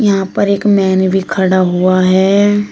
यहां पर एक मैन भी खड़ा हुआ है।